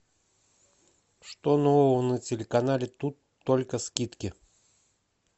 что нового на телеканале тут только скидки